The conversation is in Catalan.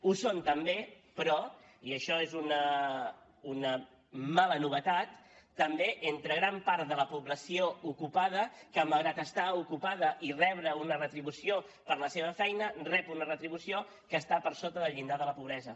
ho són també però i això és una mala novetat també entre gran part de la població ocupada que malgrat estar ocupada i rebre una retribució per la seva feina rep una retribució que està per sota del llindar de la pobresa